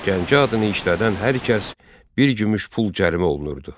Gəncə adını işlədən hər kəs bir gümüş pul cərimə olunurdu.